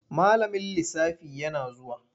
Malamin lisafi yana zuwa.